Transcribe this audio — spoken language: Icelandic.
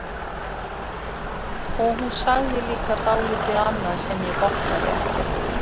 Og hún sagði líka dálítið annað sem ég botnaði ekkert í.